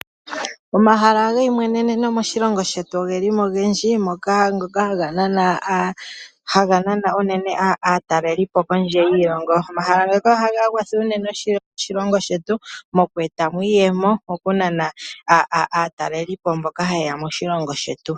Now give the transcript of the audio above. Omahala geyimweneno moshilongo shetu ogeli mo ogendji moka ngoka haga nana unene aatalelipo kondje yiilongo. Omahala ngaaka ohaga kwatha unene oshilongo shetu moku etamo iiyemo moku nana aatalelipo mboka haya yeya moshilongo shetu.